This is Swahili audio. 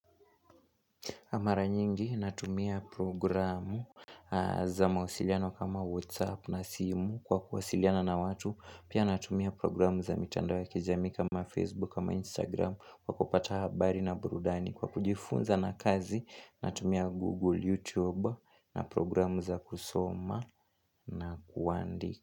Kwa mara nyingi natumia programu za mawasiliano kama WhatsApp na simu kwa kuwasiliana na watu. Pia natumia programu za mitandao ya kijamii kama Facebook ama Instagram kwa kupata habari na burudani. Kwa kujifunza na kazi natumia Google, YouTube na programu za kusoma na kuandika.